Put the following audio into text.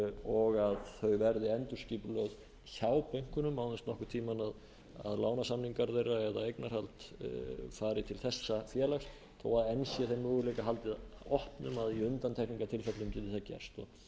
og að þau verði endurskipulögð hjá bönkunum án þess nokkurn tíma að lánasamningar þeirra eða eignarhald fari til þessa félags þó að enn sé þeim möguleika haldið opnum að í undantekningartilfellum geti það gerst